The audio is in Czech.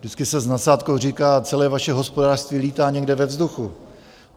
Vždycky se s nadsázkou říká: celé vaše hospodářství lítá někde ve vzduchu.